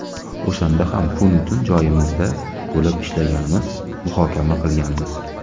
O‘shanda ham kunu tun joyimizda bo‘lib, ishlaganmiz, muhokama qilganmiz.